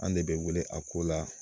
An de bɛ wele a ko la